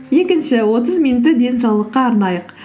екінші отыз минутты денсаулыққа арнайық